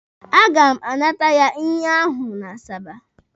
A ga m anata ya ihe ahụ n'Asaba.